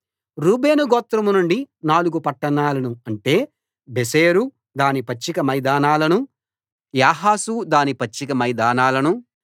రూబేను గోత్రం నుండి నాలుగు పట్టణాలను అంటే బేసెరు దాని పచ్చిక మైదానాలనూ యాహసు దాని పచ్చిక మైదానాలనూ